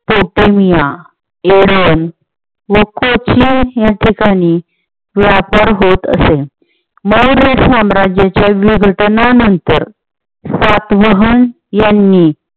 पोटेमिया व या ठिकाणी व्यापार होत असे. मौर्यसाम्राज्याच्या विघटनानंतर सातवहन यांनी